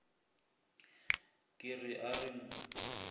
ke re a re mo